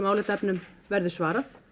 álitaefnum verður svarað